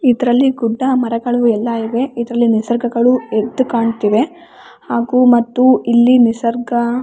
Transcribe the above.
ಇದ್ರಲ್ಲಿ ಗುಡ್ಡ ಮರಗಳು ಎಲ್ಲ ಇವೆ ಇದ್ರಲ್ಲಿ ನಿಸರ್ಗಗಳು ಎದ್ದು ಕಾಣ್ತಿವೆ ಹಾಗು ಮತ್ತು ಇಲ್ಲಿ ನಿಸರ್ಗ.